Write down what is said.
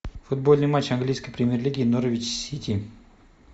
футбольный матч английской премьер лиги норвич сити